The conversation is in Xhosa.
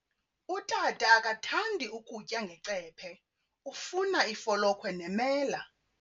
Utata akathandi kutya ngecephe, ufuna ifolokhwe nemela.